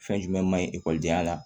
Fɛn jumɛn man ɲi e denya la